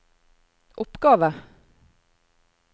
oppgave